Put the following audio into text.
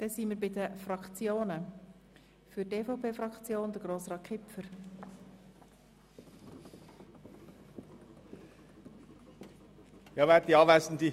Wir kommen zu den Fraktionen, zuerst Grossrat Kipfer für die EVP-Fraktion.